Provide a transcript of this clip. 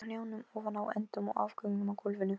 Hann tekur upp hanskann fyrir föður sinn, svaraði Marteinn.